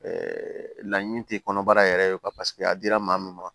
laɲini tɛ kɔnɔbara yɛrɛ ye a dira maa min ma